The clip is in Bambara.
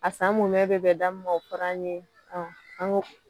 A san mun mɛ bɛ bɛn da min ma o fɔl' an ye